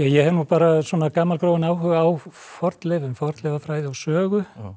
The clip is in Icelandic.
hef nú bara gamalgróinn áhuga á fornleifum fornleifafræði og sögu